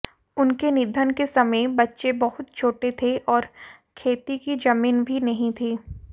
उनके निधन के समय बच्चे बहुत छोटे थे और खेती की जमीन भी नहीं थी